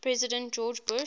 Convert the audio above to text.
president george bush